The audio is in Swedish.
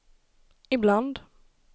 ibland